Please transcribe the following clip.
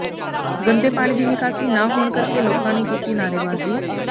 ਗੰਦੇ ਪਾਣੀ ਦੀ ਨਿਕਾਸੀ ਨਾ ਹੋਣ ਕਰਕੇ ਲੋਕਾਂ ਨੇ ਕੀਤੀ ਨਾਅਰੇਬਾਜ਼ੀ